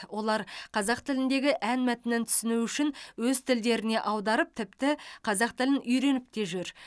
олар қазақ тіліндегі ән мәтінін түсіну үшін өз тілдеріне аударып тіпті қазақ тілін үйреніп те жүр